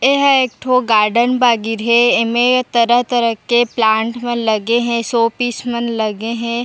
एहे एकठो गार्डन बागीर हे एमे तरह- तरह के प्लांट मन लगे हे शो पीस मन लगे हे।